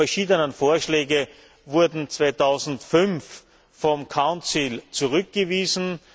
Diese verschiedenen Vorschläge wurden 2005 vom Rat zurückgewiesen.